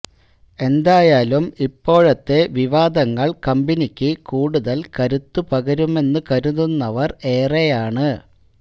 എന്തായാലും ഇപ്പോഴത്തെ വിവാദങ്ങൾ കമ്പനിക്ക് കൂടുതൽ കരുത്തു പകരുമെന്ന് കരുതുന്നവർ ഏറെയാണ്